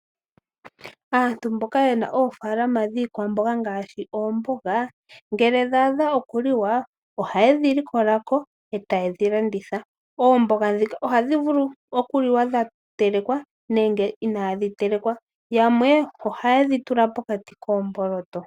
Aantu mboka yena oofalama dhiikwamboga ngaashi oomboga ngele dhaadha okuliwa ohaye dhilikolako ee tayedhi landitha. Oomboga dhika ohadhi vulu okuliwa dhatelekwa nenge inaadhitelekwa yamwe ohaye dhi tula pokati koomboloto.